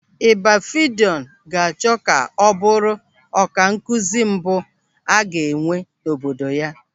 Ibafidọn ga-achọ ka ọ bụrụ ọkankụzi mbụ a ga-enwe n'obodo ya.